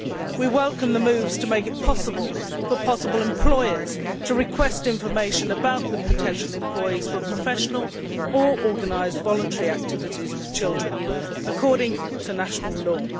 We welcome the move to make it possible for employers to request information about the potential employees for professional or organised voluntary activities with children, according to national law.